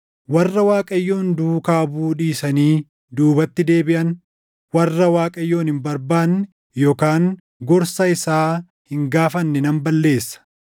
warra Waaqayyoon duukaa buʼuu dhiisanii duubatti deebiʼan, warra Waaqayyoon hin barbaanne // yookaan gorsa isaa hin gaafanne nan balleessa.”